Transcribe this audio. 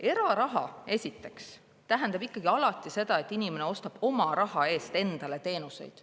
Eraraha esiteks tähendab ikkagi alati seda, et inimene ostab oma raha eest endale teenuseid.